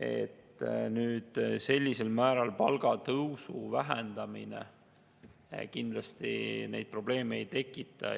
ja nüüd sellisel määral palgatõusu vähendamine kindlasti neid probleeme ei tekita.